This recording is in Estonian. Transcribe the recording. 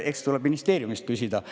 Eks tuleb ministeeriumist küsida.